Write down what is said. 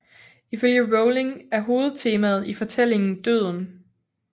Ifølge Rowling er hovedtemaet i fortælling døden